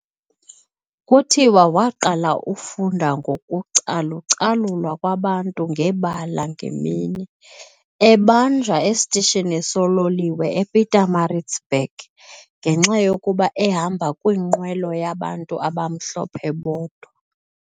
kutiwa waqala ufunda ngoku calucalulwa kwabantu ngebala ngemini, ebanjwa estishini sololiwe ePietermaritzburg ngenxayokuba ehamba kwiinqwelo yabantu abamhlophe bodwa.